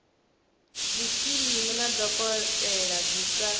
zwikimu na dokotela dzi sa